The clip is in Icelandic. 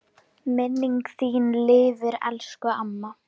Minning þín lifir elsku amma.